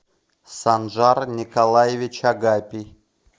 санжар николаевич агапий